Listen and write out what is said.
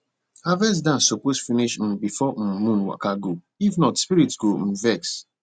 harvest dance suppose finish um before um moon waka go if not spirit go um vex